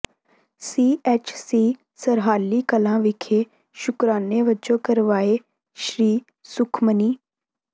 ਸੀ H C Sarhali Kalan ਵਿਖੇ ਸ਼ੁਕਰਾਨੇ ਵਜੋਂ ਕਰਵਾਏ ਸ੍ਰੀ ਸੁਖਮਨੀ